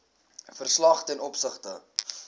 verslag ten opsigte